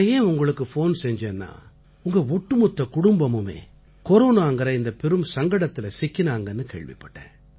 நான் ஏன் உங்களுக்குப் ஃபோன் செஞ்சேன்னா உங்க ஒட்டுமொத்த குடும்பமுமே கொரோனாங்கற இந்தப் பெரும் சங்கடத்தில சிக்கினாங்கன்னு கேள்விப்பட்டேன்